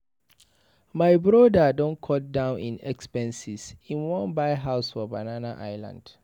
My broda don cut down im expenses, im wan buy house for Banana island.